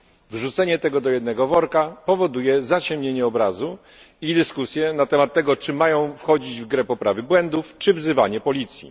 Wrzucenie tego do jednego worka powoduje zaciemnienie obrazu i dyskusje na temat tego czy mają wchodzić w grę poprawy błędów, czy wzywanie policji.